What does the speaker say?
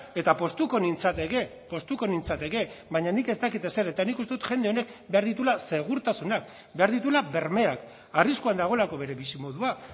eta poztuko nintzateke poztuko nintzateke baina nik ez dakit ezer eta nik uste dut jende honek behar dituela segurtasunak behar dituela bermeak arriskuan dagoelako bere bizimodua